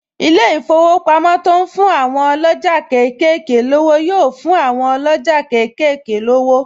Ilé-ìfowópamọ́ to ń fún àwọn ọlọ́jà kéékèèké lówó yóò fún àwọn ọlọ́jà kékeré lówó